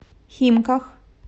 химках